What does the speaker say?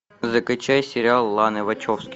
закачай сериал ланы вачовски